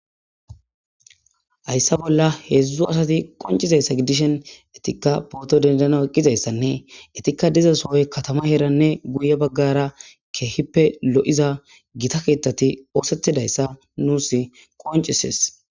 Hayssa bolla heedzdzu asati qonccizayssa gidishin izetikka pooto denddanaw eqqidayssanne entikka diza sohoy katamanne keehippe lo7iza gita keetheti oothettidayssa nuussi qoncisees.